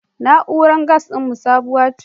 Na'urar gas ɗinmu sabuwa ce.